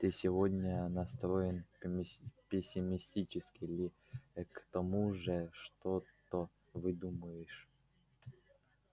ты сегодня настроен пессимистически ли к тому же что-то выдумываешь